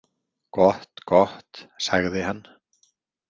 Gott, gott, sagði hann.